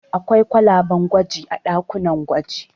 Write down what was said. Akwai kwalaben gwaji a ɗakunan gwaji.